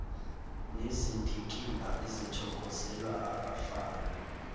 nezindikimba ezithokozelwa ngabafana